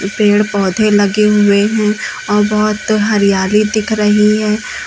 पेड़ पौधे लगे हुए हैं और बहुत हरियाली दिख रही है।